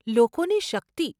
લોકોની શક્તિ!